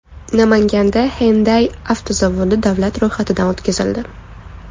Namanganda Hyundai avtozavodi davlat ro‘yxatidan o‘tkazildi.